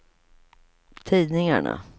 tidningarna